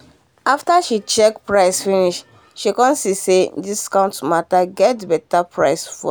she show her family how to register for